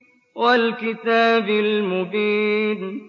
وَالْكِتَابِ الْمُبِينِ